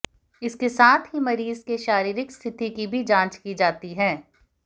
इसके साथ ही मरीज के शारीरिक स्थिति की भी जांच की जाती है